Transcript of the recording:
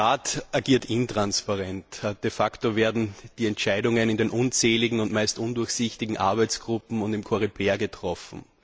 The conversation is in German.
Der Rat agiert intransparent. De facto werden die Entscheidungen in den unzähligen, meist undurchsichtigen Arbeitsgruppen und im COREPER getroffen.